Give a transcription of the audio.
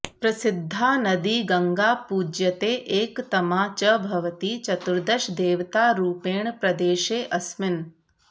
प्रसिद्धा नदी गङ्गा पूज्यते एकतमा च भवति चतुर्दशदेवतारूपेण प्रदेशेऽस्मिन्